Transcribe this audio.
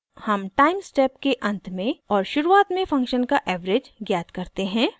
हम time step के अंत में और शुरुआत में फंक्शन का एवरेज ज्ञात करते हैं